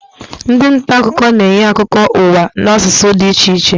Ndị nta akụkọ na-enye akụkọ ụwa n'asụsụ dị iche iche